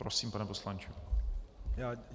Prosím, pane poslanče.